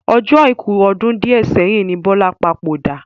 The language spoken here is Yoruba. Ọjọ́ Àìkú ọdún di ẹ sẹ́yìn ni Bọlá papòdà